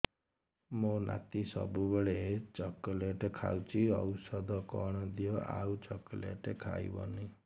ମୋ ନାତି ସବୁବେଳେ ଚକଲେଟ ଖାଉଛି ଔଷଧ କଣ ଦିଅ ଆଉ ଚକଲେଟ ଖାଇବନି